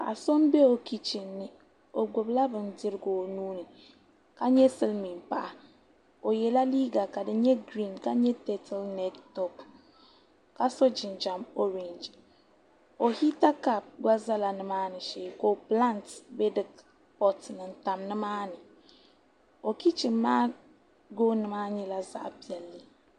Paɣa son bɛ o kichin ni o gbubila bindirigu o nuuni ka nyɛ silmiin paɣa o yɛla liiga ka di nyɛ giriin ka nyɛ tɛpili mɛd toop ka so jinjɛm oorɛngi o hita kaap gba ʒɛya nimaani shee ka pilaant bɛ pot ni n tam o kichin maa gooni maa nyɛla zaɣ piɛlli nimaani